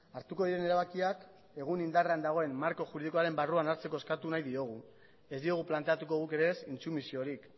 hartuko diren erabakiak egun indarrean dagoen marko juridikoaren barruan hartzeko eskatu nahi diogu ez diogu planteatuko guk ere ez intsumisiorik